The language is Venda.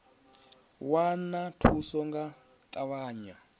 wana thuso nga u ṱavhanya